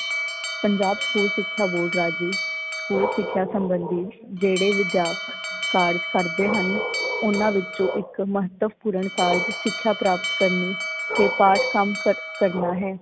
Punjab school ਸਿੱਖਿਆ board ਰਾਜੀ, school ਸਿੱਖਿਆ ਸੰਬੰਧੀ ਜਿਹੜੇ ਵਿਦਿਆਪਕ ਕਾਰਜ ਕਰਦੇ ਹਨ ਓਹਨਾਂ ਵਿੱਚੋਂ ਇੱਕ ਮਹੱਤਵਪੂਰਨ ਕਾਰਜ ਸਿਕਸ਼ਾ ਪ੍ਰਾਪਤ ਕਰਨੀ ਤੇ ਪਾਠ ਕੰਮ ਕਰਨਾ ਹੈ।